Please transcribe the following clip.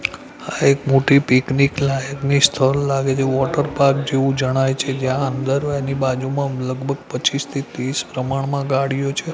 એક મોટી પિકનિક લાયકની સ્થળ લાગે છે વોટરપાર્ક જેવુ જણાઈ છે જ્યાં અંદર એની બાજુમાં લગભગ પચ્ચીસ થી તીસ પ્રમાણમાં ગાડીઓ છે.